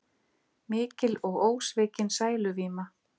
Mikil og ósvikin sæluvíma.